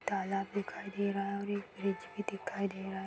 तालाब दिखाई दे रहा है और एक ब्रिज भी दिखाई दे रहा है।